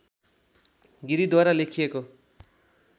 गिरिद्वारा लेखिएको